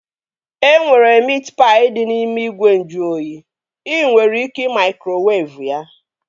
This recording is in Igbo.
E nwere miit paị dị n'ime ìgwè nju oyi. Ị nwere ike ị maikrowevu ya